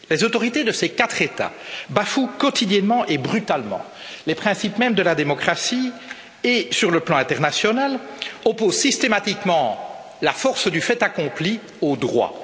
Les autorités de ces quatre États bafouent quotidiennement et brutalement les principes mêmes de la démocratie et, sur le plan international, opposent systématiquement la force du fait accompli au droit.